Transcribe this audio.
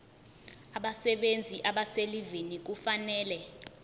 abasebenzi abaselivini kufanele